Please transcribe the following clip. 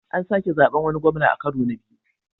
An sake zaɓen wani gwamna a karo na biyu.